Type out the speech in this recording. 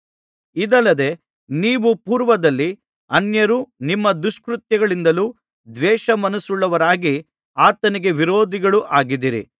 ಇದಲ್ಲದೆ ನೀವು ಪೂರ್ವದಲ್ಲಿ ಅನ್ಯರು ನಿಮ್ಮ ದುಷ್ಕೃತ್ಯಗಳಿಂದಲೂ ದ್ವೇಷಮನಸ್ಸುಳ್ಳವರಾಗಿ ಆತನಿಗೆ ವಿರೋಧಿಗಳೂ ಆಗಿದ್ದಿರಿ